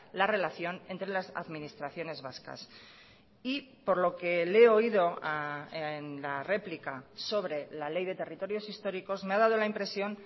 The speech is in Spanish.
la relación entre las administraciones vascas y por lo que le he oído en la replica sobre la ley de territorios históricos me ha dado la impresión